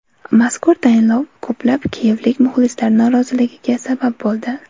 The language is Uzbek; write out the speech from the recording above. Mazkur tayinlov ko‘plab kiyevlik muxlislar noroziligiga sabab bo‘ldi.